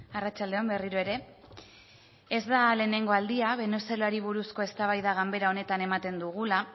arratsalde on berriro ere ez da lehenengo aldia venezuelari buruzko eztabaida ganbara honetan ematen dugula